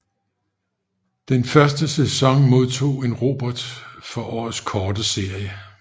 Den første sæson modtog en Robert for Årets Korte Serie